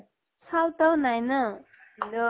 চাওঁতাও নাই না । ভিন দʼ